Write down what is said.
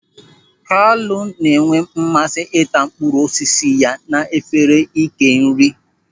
Kalu na-enwe mmasị ịta mkpụrụ osisi ya n'efere ị́kè nri.